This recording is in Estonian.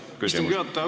Hea istungi juhataja!